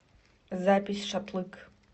запись шатлык